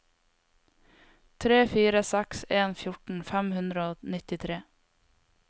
tre fire seks en fjorten fem hundre og nittitre